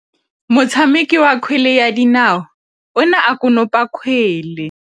Motshameki wa kgwele ya dinaô o ne a konopa kgwele.